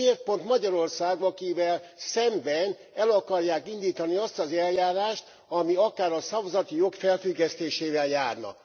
Miért pont Magyarország az, akivel szemben el akarják indítani azt az eljárást, ami akár a szavazati jog felfüggesztésével járna.